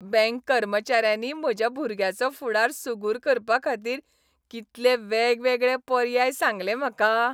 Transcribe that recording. Bank कर्मचाऱ्यांनी म्हज्या भुरग्याचो फुडार सुगूर करपाखातीर कितले वेगवेगळे पर्याय सांगले म्हाका.